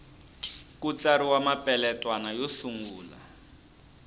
ku tsariwa mapeletwana yo sungula